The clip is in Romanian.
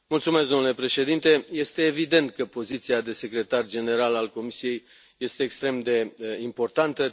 Domnule președinte, este evident că poziția de secretar general al Comisiei este extrem de importantă.